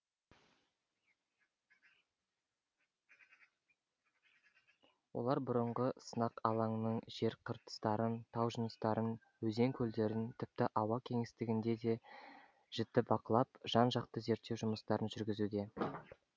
олар бұрынғы сынақ алаңының жер қыртыстарын тау жыныстарын өзен көлдерін тіпті ауа кеңістігінде де жіті бақылап жан жақты зерттеу жұмыстарын жүргізуде